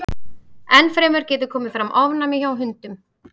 Enn fremur getur komið fram ofnæmi hjá hundum.